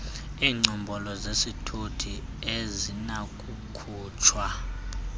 iingcombolo zesithuthi azinakukhutshwa